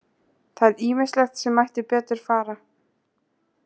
Það er ýmislegt sem mætti betur fara.